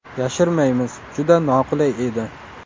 Yashirmaymiz, juda noqulay edi.